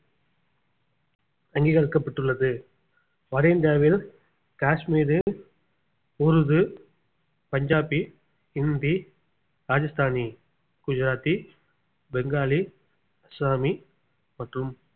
அங்கீகரிக்கப்பட்டுள்ளது வட இந்தியாவில் காஷ்மீரில் உருது பஞ்சாபி ஹிந்தி ராஜஸ்தானி குஜராத்தி பெங்காலி அஸ்ஸாமி மற்றும்